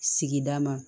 Sigida ma